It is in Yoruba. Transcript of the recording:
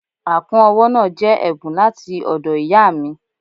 Àkún ọwọ́ náà jẹ́ ẹ̀bùn láti ọ̀dọ̀ ìyáà mi.